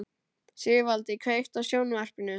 Sigvaldi, kveiktu á sjónvarpinu.